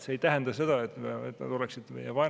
See ei tähenda seda, et nad oleksid meie vaenlased.